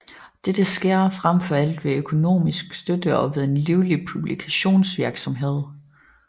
Dette sker frem for alt ved økonomisk støtte og ved en livlig publikationsvirksomhed